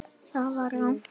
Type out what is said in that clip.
ÞAÐ VAR RANGT.